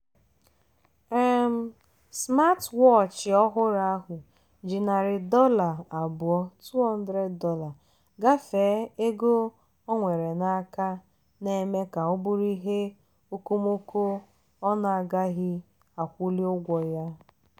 um smatwọọchị ọhụrụ ahụ ji narị dollar abụọ ($200) gafee ego o nwere n'aka na-eme ka ọ bụrụ ihe okomoko ọ na-agaghị akwụli ụgwọ ya.